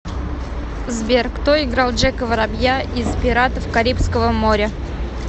сбер кто играл джека воробья из пиратов карибского моря